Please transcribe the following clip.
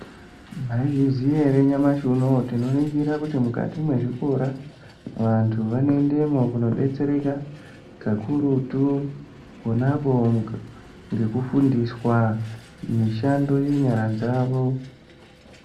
Mwaizviziya erenyamashi unoyu tinoningira kuti mukati mwezvikora vantu vanoendemo kundodetsereka kakurutu ponapo ngekufundiswa mishando yenyara dzawo.